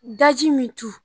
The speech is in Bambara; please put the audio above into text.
Daji min tu